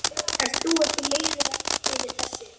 Ert þú ekki leiður yfir þessu?